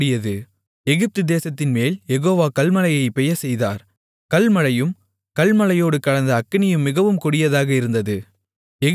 கல்மழையும் கல்மழையோடு கலந்த அக்கினியும் மிகவும் கொடியதாக இருந்தது எகிப்து தேசம் தோன்றிய நாள்முதல் அதில் அப்படி ஒருபோதும் உண்டானதில்லை